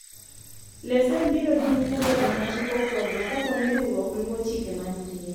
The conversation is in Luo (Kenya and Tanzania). lesen biro dhi nyime bedo ma chik opwodho kapo ni riwruok luwo chike mantie